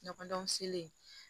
Ɲɔgɔndɔn se